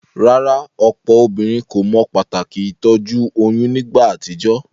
Rárá, òpò obínrin kò mo pàtàkì ìtójú oyún nígba àtijó?